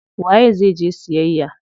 Waye zai je siyayya?